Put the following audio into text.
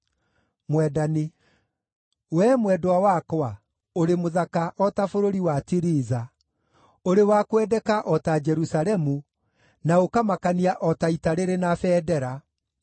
Wee mwendwa wakwa, ũrĩ mũthaka, o ta bũrũri wa Tiriza, ũrĩ wa kwendeka o ta Jerusalemu, na ũkamakania o ta ita rĩrĩ na bendera.